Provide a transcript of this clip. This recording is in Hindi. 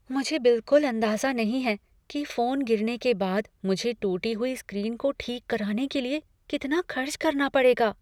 मुझे बिलकुल अंदाज़ा नहीं है कि फोन गिरने के बाद मुझे टूटी हुई स्क्रीन को ठीक कराने के लिए कितना खर्च करना पड़ेगा।